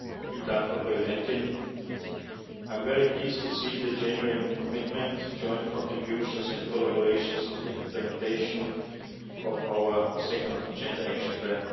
Madam President, I am very pleased to see the genuine commitment, joint contributions and collaboration in the implementation of our second gender action plan.